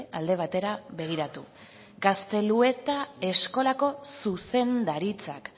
alde batera begiratu gaztelueta eskolako zuzendaritzak